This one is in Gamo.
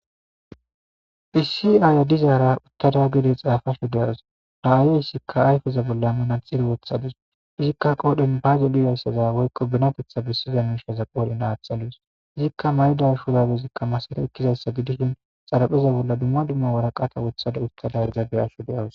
issi aaya dizaara uttada gede xaafasho deawus ra7aayeyssikka ayfeza bolla inatxiri wothadus izikka qoodhen baazo liyayssaza woykko binapetha bessiza ninshaza qoolin aatxalus izikka mayda shuzabezikka masare ekkizassa gidishin xarapheza bolla dumma dumma waraqata wothada uttadarizage asho de7awus